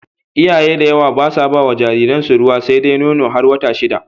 Iyaye da yawa basa bawa jariran su ruwa sedai Nono, har wata shida